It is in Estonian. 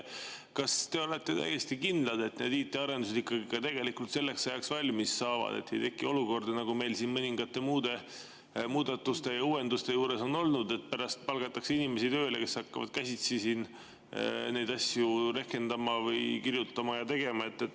Kas te olete täiesti kindel, et need IT‑arendused selleks ajaks valmis saavad, et ei teki olukorda nagu meil siin mõningate muude muudatuste ja uuendustega on olnud, et pärast palgatakse tööle inimesi, kes hakkavad käsitsi neid asju rehkendama või kirjutama ja tegema?